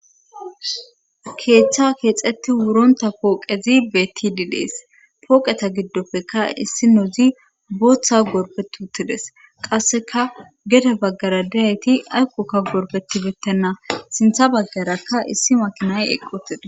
keethcha keexeti wuronta pooqezi betidi dees pooqeta giddoppekka issi nozi booththa gorbet uttides qasseka geda baggara diyayti ayqokka gorpetibettenna sintha baggarakka issi makinay eqqotides